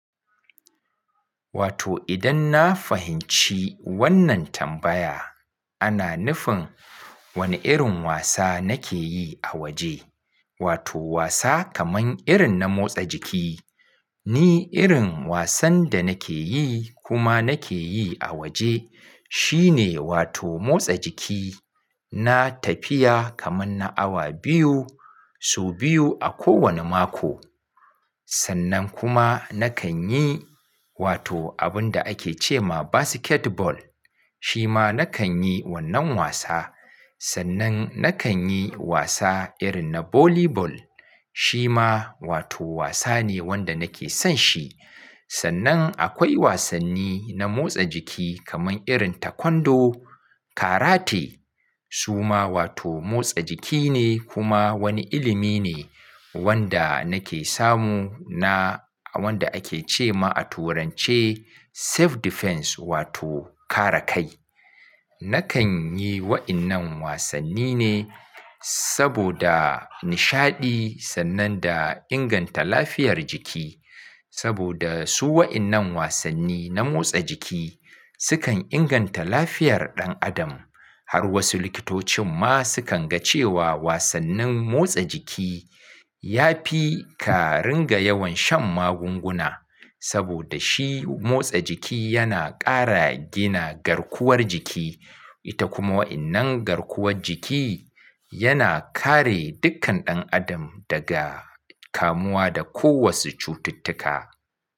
Wato idan na fahimci wannan tambaya, ana nufin wani irin wasa nake yi a wa je, wato wasa kaman irin na motsa jiki. Ni irin wasan da nake yi kuma nake yi a waje shine wato motsa jiki. Na tafiya kaman na awa biyu, sau biyu a kowane mako. Sannan kuma nakan yi wato abun da ake ce ma basketball, shi ma nakan yi wannan wasa. Sannan nakan yi wasa irin na volleyball, shi ma wato wasa ne wanda nake son shi. Sannan akwai wasanni na motsa jiki kaman irin taekwondo, karate. Su ma wato motsa jiki ne kuma wani ilimi ne wanda nake samu na a wanda ake ce ma a turanche self defense wato kare kai. Nakan yi wa'innan wasanni ne saboda nishaɗi sannan da inganta lafiyar jiki. Saboda su wa'innan wasanni na motsa jiki sukan inganta lafiyar ɗan adam. Har wasu likitocin ma sukan ga cewa wasannin motsa jiki ya fi ka ringa yawan shan magunguna. Saboda shi motsa jiki yana ƙara gina garkuwar jiki. Ita kuma wa'innan garkuwar jiki yana kare dukkan ɗan adam daga kamuwa da ko wasu cututtuka.